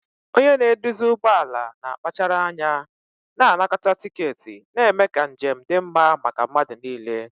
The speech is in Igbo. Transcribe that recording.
Onye na-eduzi ụgbọ ala na-akpachara anya na-anakọta tiketi, na-eme ka njem dị mma maka mmadụ niile.